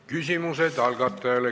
Küsimused algatajale.